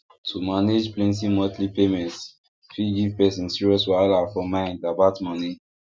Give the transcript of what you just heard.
to manage plenty monthly payments fit give person serious wahala for mind about money